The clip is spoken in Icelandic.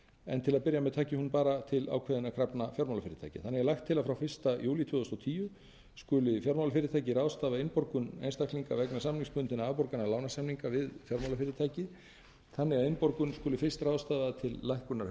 en til að byrja taki hún bara til ákveðinna krafna fjármálafyrirtækja þannig er lagt til að frá fyrsta júlí tvö þúsund og tíu skuli fjármálafyrirtæki ráðstafa innborgunum einstaklinga vegna samningsbundinna afborgana lánasamninga við fjármálafyrirtækið þannig að innborgun skuli fyrst ráðstafað til lækkunar